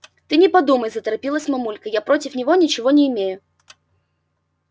ты не подумай заторопилась мамулька я против него ничего не имею